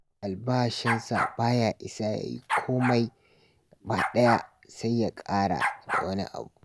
Albashinsa ba ya isa ya yi komai gabaɗaya sai ya ƙara da wani abu